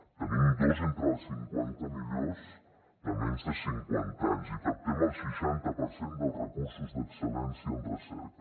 en tenim dos entre les cinquanta millors de menys de cinquanta anys i captem el seixanta per cent dels recursos d’excel·lència en recerca